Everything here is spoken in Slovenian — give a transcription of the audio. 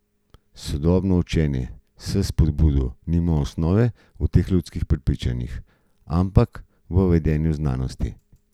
Sodobno učenje s spodbudo nima osnove v teh ljudskih prepričanjih, ampak v vedenjski znanosti.